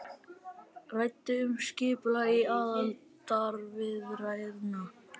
Ræddu um skipulag aðildarviðræðna